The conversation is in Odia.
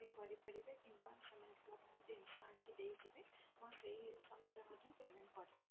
ବି କରିପାରିବେ କିମ୍ବା ସେମାନେ ଜିନିଷ ଆଣିକି ଦେଇଯିବେ ଆପଣ ସେଇ ସମୟ ରେ ମଧ୍ୟ payment କରିପାରିବେ।